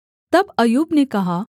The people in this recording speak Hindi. तब अय्यूब ने कहा